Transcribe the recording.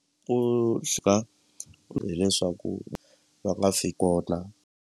Ku chika hileswaku va nga fi kona.